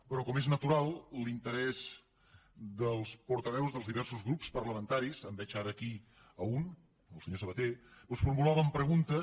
però com és natural l’interès dels portaveus dels diversos grups parlamentaris en veig ara aquí un el senyor sabaté doncs formulaven preguntes